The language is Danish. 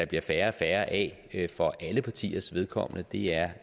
bliver færre og færre af for alle partiers vedkommende det er